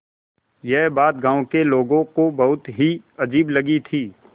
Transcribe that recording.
यह बात गाँव के लोगों को बहुत ही अजीब लगी थी